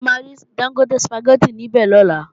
Ṣé a máa rí Dángótè Sùpàgẹ́tì níbè lọ́la?